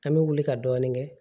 An bɛ wuli ka dɔɔni kɛ